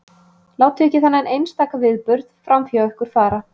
Látið ekki þennan einstaka viðburð framhjá ykkur fara.